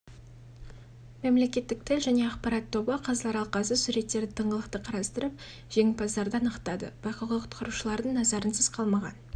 мемлекеттік тіл және ақпарат тобы қазылар алқасы суреттерді тыңғылықты қарастырып жеңімпаздарды анықтады байқауға құтқарушылардың назарынсыз қалмаған